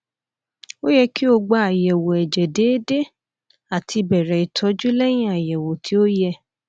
o yẹ ki o gba ayẹwo ẹjẹ deede ati bẹrẹ itọju lẹhin ayẹwo ti o yẹ